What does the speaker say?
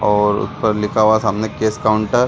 और ऊपर लिखा हुआ है सामने कैश काउंटर --